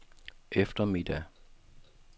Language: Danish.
eftermiddag